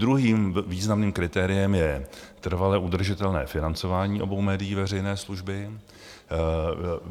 Druhým významným kritériem je trvale udržitelné financování obou médií veřejné služby.